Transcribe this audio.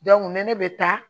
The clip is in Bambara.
ni ne bɛ taa